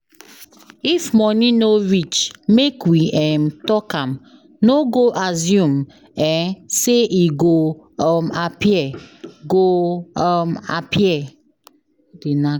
If money no reach, make we um talk am, no go assume um say e go um appear. go um appear.